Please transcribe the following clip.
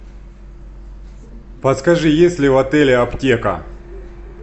подскажи есть ли в отеле аптека